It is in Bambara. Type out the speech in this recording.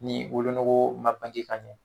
Ni wolonogo ma bange ka ɲɛ